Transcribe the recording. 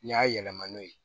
N y'a yɛlɛma n'o ye